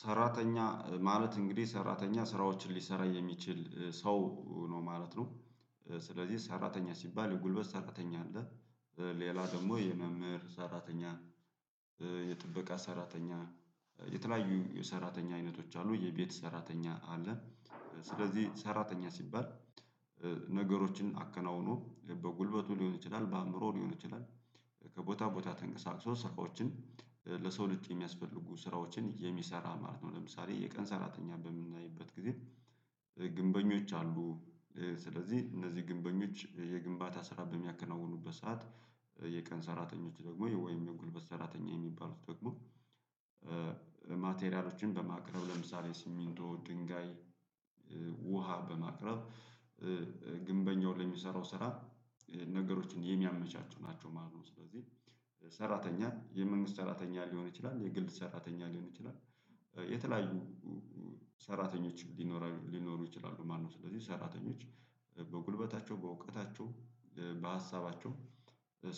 ሰራተኛ ማለት እንግዲህ ሰራተኛ ስራዎችን ሊሰራ የሚችል ሰው ነው ማለት ነው። ስለዚህ ሰራተኛ ሲባል የጉልበት ሰራተኛ አለ። ሌላ ደግሞ የመምህር ሰራተኛ። የጥበቃ ሰራተኛ። የተለያዩ የሰራተኛ አይነቶች አሉ የቤት ሰራተኛ አለ። ስለዚህ ሰራተኛ ሲባል። ነገሮችን አከናውኖ በጉልበቱ ሊሆን ይችላል በአእምሮ ሊሆን ይችላል። ከቦታ ቦታ ተንቀሳቅሶ ስራዎችን ለሰው ልጅ የሚያስፈልጉ ስራዎችን የሚሰራ ማለት ነው። ለምሳሌ የቀን ሰራተኛ በምናይበት ጊዜ ግንበኞች አሉ። ስለዚህ እነዚህ ግንበኞች የግንባታ ስራ በሚያከናውኑበት ሰዓት። የቀን ሰራተኞች ደግሞ ወይን የጉልበት ሰራተኛ የሚባሉት ደግሞ። ማቴሪያሎችን በማቅረብ ለምሳሌ ሲሚንቶ ድንጋይ ውሃ በማቅረብ። ግንበኛውን ለሚሰራው ስራ ነገሮችን የሚያመቻቹ ናቸው ማለት ነው። ስለዚህ ሰራተኛ የመንግስት ሰራተኛ ሊሆን ይችላል የግል ሰራተኛ ሊሆን ይችላል። የተለያዩ ሰራተኞች ሊኖሩ ይችላሉ ማነው? ስለዚህ ሰራተኞች በጉልበታቸው በእውቀታቸው በሀሳባቸው